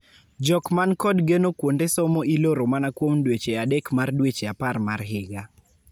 Jok man kod geno-kuonde somo iloro mana kuom dweche adek mar dweche apar mar higa